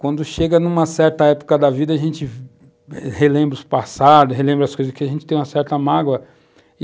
Quando chega numa certa época da vida, a gente relembra os passados, relembra as coisas, porque a gente tem uma certa mágoa.